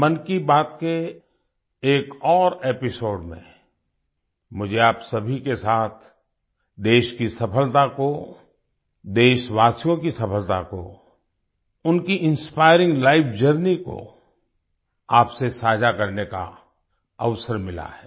मन की बात के एक और एपिसोड में मुझे आप सभी के साथ देश की सफलता को देशवासियों की सफलता को उनकी इंस्पायरिंग लाइफ जर्नी को आपसे साझा करने का अवसर मिला है